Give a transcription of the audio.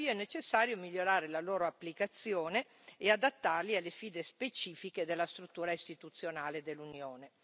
Tuttavia, è necessario migliorare la loro applicazione e adattarli alle sfide specifiche della struttura istituzionale dell'Unione.